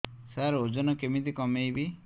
ସାର ଓଜନ କେମିତି କମେଇବି